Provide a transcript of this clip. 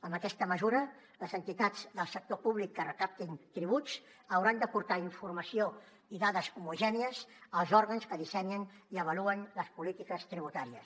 amb aquesta mesura les entitats del sector públic que recaptin tributs hauran d’aportar informació i dades homogènies als òrgans que dissenyen i avaluen les polítiques tributàries